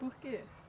Por quê?